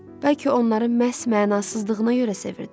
Bəlkə onları məhz mənasızlığına görə sevirdi?